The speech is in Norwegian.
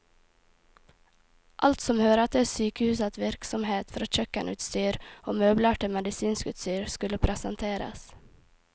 Alt som hører til sykehusets virksomhet, fra kjøkkenutstyr og møbler til medisinsk utstyr, skulle presenteres.